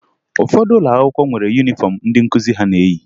Ụfọdụ ụlọ akwụkwọ nwere yunifọmụ ndị nkụzi ha na-eyi